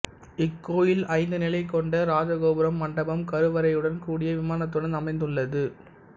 இக்கோயில் ஐந்து நிலை கொண்ட ராஜகோபுரம் மண்டபம் கருவறையுடன் கூடிய விமானத்துடன் அமைந்துள்ளது